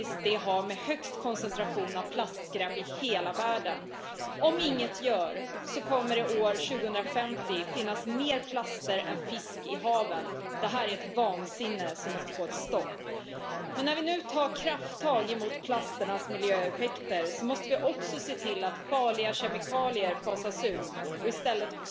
Arvoisa puhemies, muovistrategian tärkein tavoite on vähentää muovijätettä. Hyvä uutinen oli se, että meillä on vielä paljon tehtävää, huono uutinen toki se, että muovijäte lisääntyy koko ajan valtavasti eri puolilla maailmaa. Esiin tuli se